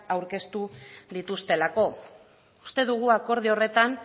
aurkeztu dituztelako uste dugu akordio horretan